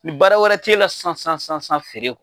Ni baara wɛrɛ t'e la sisan sisan sisan sisan feere kɔ